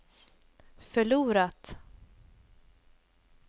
förlorat